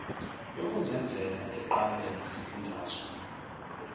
yokuzenzela eqalwa yizifundazwe